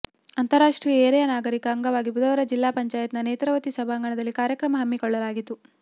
ಅಂತಾರಾಷ್ಟ್ರೀಯ ಹಿರಿಯ ನಾಗರಿಕರ ಅಂಗವಾಗಿ ಬುಧವಾರ ಜಿಲ್ಲಾ ಪಂಚಾಯತ್ನ ನೇತ್ರಾವತಿ ಸಭಾಂಗಣದಲ್ಲಿ ಕಾರ್ಯಕ್ರಮ ಹಮ್ಮಿಕೊಳ್ಳಲಾಗಿತ್ತು